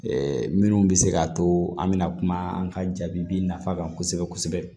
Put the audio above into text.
minnu bɛ se k'a to an bɛna kuma an ka jaabi nafa kan kosɛbɛ kosɛbɛ